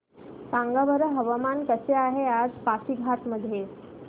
सांगा बरं हवामान कसे आहे आज पासीघाट मध्ये